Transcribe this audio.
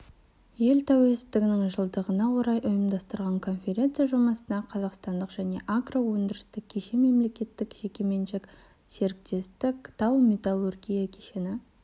ел тәуелсіздігінің жылдығына орай ұйымдастырылды конференция жұмысына қазақстандық және агроөндірістік кешен мемлекеттік-жекеменшік серіктестік тау-металлургия кешені